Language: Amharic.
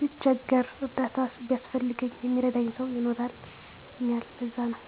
ብቸገር እርዳታ ቢያስፈልገኝ የሚረዳኝ ሰዉ ይኖራል ለዛነዉ